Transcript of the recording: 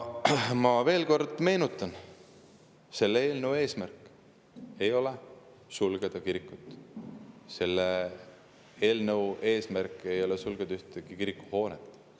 Ma veel kord meenutan: selle eelnõu eesmärk ei ole sulgeda kirikut, selle eelnõu eesmärk ei ole sulgeda ühtegi kirikuhoonet.